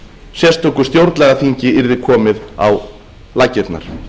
sérstöku stjórnlagaþingi yrði komið á laggirnar